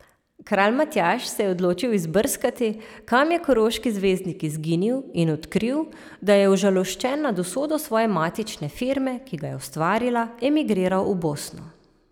Kralj Matjaž se je odločil izbrskati, kam je koroški zvezdnik izginil in odkril, da je užaloščen nad usodo svoje matične firme, ki ga je ustvarila, emigriral v Bosno!